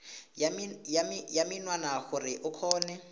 ya menwana gore o kgone